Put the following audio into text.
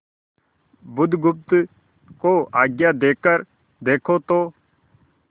बुधगुप्त को आज्ञा देकर देखो तो